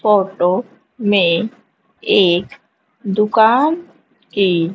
photo में एक दुकान की--